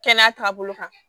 Kɛnɛya taabolo kan